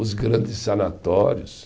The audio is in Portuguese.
Os grandes sanatórios.